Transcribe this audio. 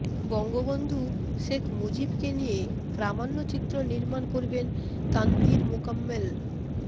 বঙ্গবন্ধু শেখ মুজিবকে নিয়ে প্রামাণ্যচিত্র নির্মাণ করবেন তানভীর মোকাম্মেল